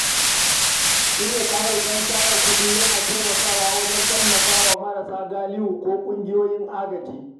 Shirya tarukan tara kuɗi yana taimakawa wajen tallafa wa marasa galihu ko ƙungiyoyin agaji.